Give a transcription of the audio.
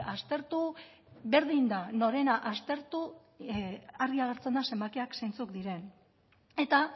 aztertu berdin da norena aztertu argi agertzen da zenbakiak zentzuk diren eta